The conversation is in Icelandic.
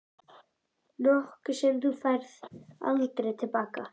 Nokkuð sem þú færð aldrei til baka.